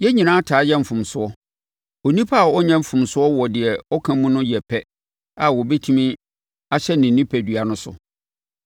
Yɛn nyinaa taa yɛ mfomsoɔ. Onipa a ɔnyɛ mfomsoɔ wɔ deɛ ɔka mu no yɛ pɛ a ɔbɛtumi ahyɛ ne onipadua no so.